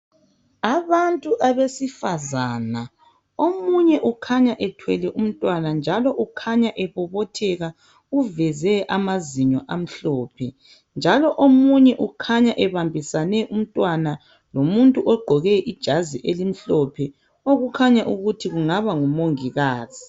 Abantu abesifazana , omunye ukhanya ethwele umntwana njalo ukhanya ebobotheka .Uveze amazinyo amhlophe njalo omunye ukhanya ebambisane umntwana lomuntu ogqoke ijazi elimhlophe okukhanya ukuthi kungaba ngumongikazi.